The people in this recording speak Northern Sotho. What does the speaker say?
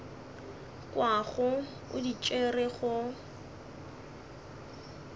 kwago o di tšere go